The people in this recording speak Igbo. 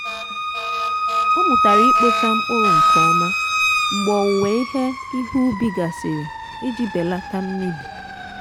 ọ mụtara ịkpọcha mkpụrụ nke ọma mgbe owuwe ihe ihe ubi gasịrị iji belata mmebi.